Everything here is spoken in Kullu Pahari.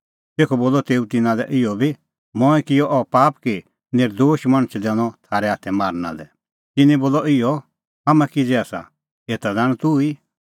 तेखअ बोलअ तेऊ तिन्नां लै इहअ बी मंऐं किअ अह पाप कि नर्दोश मणछ दैनअ थारै हाथै मारना लै तिन्नैं बोलअ इहअ हाम्हां किज़ै आसा एता ज़ाण तूह